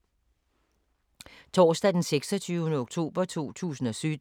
Torsdag d. 26. oktober 2017